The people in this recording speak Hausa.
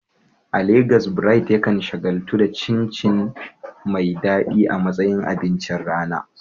A Legas, Bright yakan shagaltu da cin chin chin mai daɗi a matsayin abincin rana.